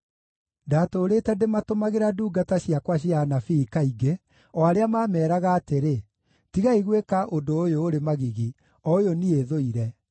Ndatũũrĩte ndĩmatũmagĩra ndungata ciakwa cia anabii kaingĩ, o arĩa maameeraga atĩrĩ: ‘Tigai gwĩka ũndũ ũyũ ũrĩ magigi, o ũyũ niĩ thũire!’